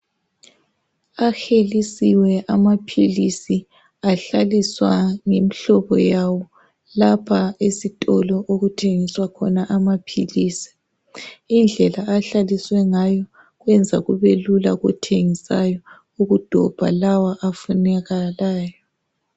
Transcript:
Ahelisiwe amaphilisi ahlaliswa ngemihlobo yabo lapha esitolo okuthengiswa khona amaphilisi. Indlela ahlaliswe ngayo kwenza kube lula kothengisayo ukudobha lawa afunakalayo.